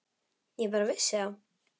Ég bara vissi það.